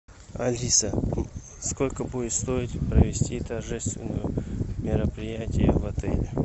алиса сколько будет стоить провести торжественное мероприятие в отеле